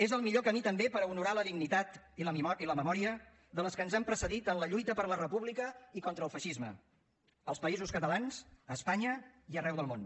és el millor camí també per honorar la dignitat i la memòria de les que ens han precedit en la lluita per la república i contra el feixisme als països catalans a espanya i arreu del món